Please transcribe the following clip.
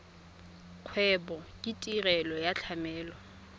kgwebo ke tirelo ya tlamelo